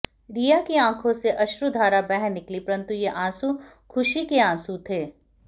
रिया की आँखों से अश्रुधारा बह निकली परन्तु ये आँसूं ख़ुशी के आँसूं थे